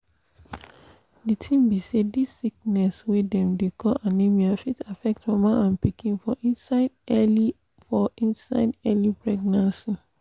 the tin be say this sickness wey dem dey call anemia fit affect mama and pikin for inside early for inside early pregnancy